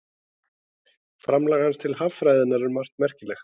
Framlag hans til haffræðinnar er um margt merkilegt.